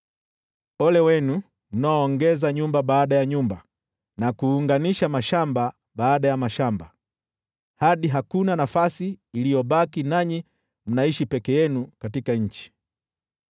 Ole wenu mnaoongeza nyumba baada ya nyumba na kuunganisha mashamba baada ya mashamba hadi hakuna nafasi iliyobaki, nanyi mnaishi peke yenu katika nchi.